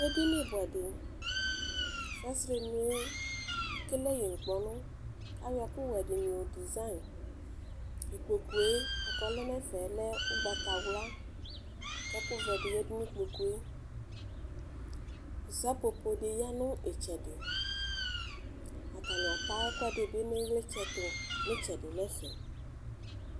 Edini bʋɛdi fasrenʋe ekele yi nʋ ŋkpɔnʋ ayɔ ɛkʋwɛdi yɔ dizayi ikpokʋe lɛnʋ ɛfɛ lɛ ʋgbatawla kʋɛkʋvɛ di yanʋ ikpokʋe sapppo bi yanʋ itsɛdi atani ata ɛkʋɛdi nʋ ilitsɛtʋ nʋ itsɛdi nʋ ɛfɛ